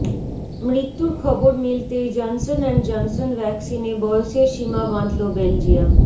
মৃত্যুর খবর মিলতেই জনসন অ্যান্ড জনসন ভ্যাকসিনে বয়সের সীমা বাঁধল বেলজিয়াম